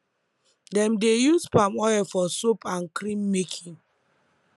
dem dey use palm oil for soap and cream making